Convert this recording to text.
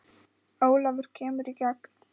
Ólafur kemur í gegn.